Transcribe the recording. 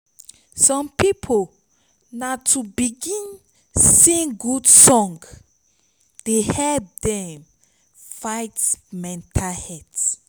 som pipo na to begin sing god song dey help dem fight mental health